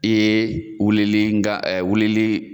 Ee wulili nga ɛɛ wulili